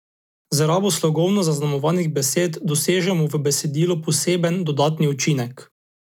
Z rabo slogovno zaznamovanih besed dosežemo v besedilu poseben dodatni učinek.